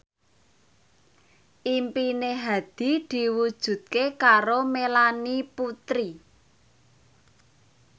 impine Hadi diwujudke karo Melanie Putri